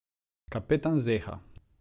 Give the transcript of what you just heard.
Kapetan zeha.